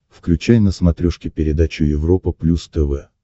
включай на смотрешке передачу европа плюс тв